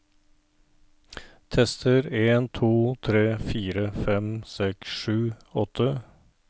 Tester en to tre fire fem seks sju åtte